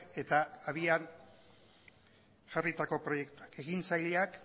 eta abian jarritako proiektuak ekintzaileak